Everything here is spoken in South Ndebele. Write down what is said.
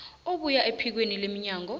ebuya ephikweni lomnyango